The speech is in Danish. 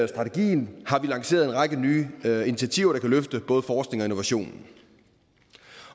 strategien har vi lanceret en række nye initiativer der kan løfte både forskning og innovation